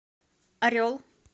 орел